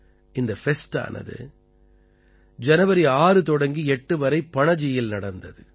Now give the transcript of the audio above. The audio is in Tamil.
இந்த ஃபெஸ்டானது ஜனவரி 6 தொடங்கி 8 வரை பணஜியில் நடந்தது